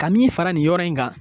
Ka min fara nin yɔrɔ in kan.